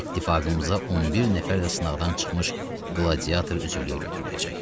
İttifaqımıza 11 nəfər də sınaqdan çıxmış qladiyator üzvlüyə götürüləcək.